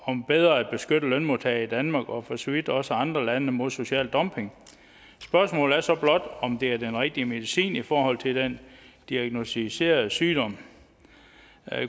om bedre at beskytte lønmodtagere i danmark og for så vidt også andre lande mod social dumping spørgsmålet er så blot om det er den rigtige medicin i forhold til den diagnosticerede sygdom